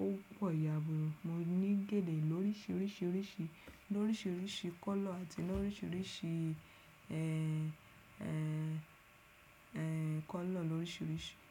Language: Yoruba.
ó pọ̀ yabuura, Mo ní gèlè lóríṣiríṣirisirisi loríṣiríṣi color ati lóríṣiríṣi ẹ, ẹ, ẹ kọ́lọ̀ lóríṣiríṣi.